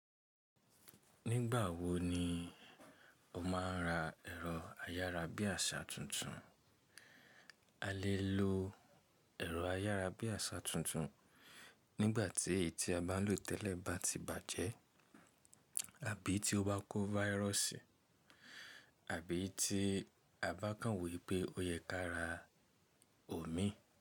Nígbà wo ni o máa ń ra ẹ̀rọ ayárabíàṣá tuntun? A lè lo ẹ̀rọ ayárabíàṣá tuntun nígbà tí èyí tí a bá ń lò tẹ́lẹ̀ bá ti bàjẹ́, àbí tí ó bá kó váyírọ̀sì, àbí tí a bá kàn wo wipé ó yẹ ká ra òmí.